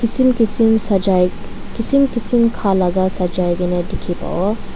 kisim kisim sagai kisim kisim khalaga sagai kena dikhi pabo.